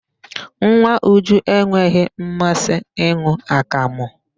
Nwa Uju enweghị mmasị ịn̄ụ akamụ.